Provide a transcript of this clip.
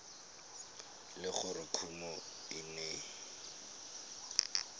le gore kumo e ne